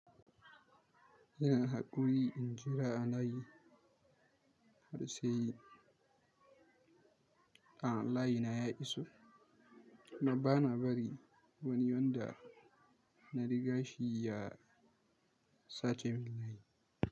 Ina haƙuri in jira a layi har sai layina ya iso, amma bana bari wani wanda na riga shi ya, sace min layi.